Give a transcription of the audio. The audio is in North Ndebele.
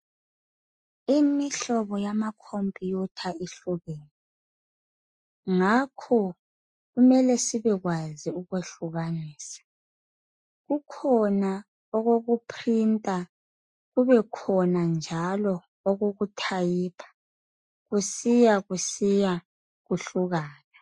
Imihlobo yama khompuyutha ihlukene, ngakho kumele sibekwazi ukukwehlukanisa, kukhona okoku phrinta kubekhona njalo okoku thayipha kusiya kusiya kuhlukana.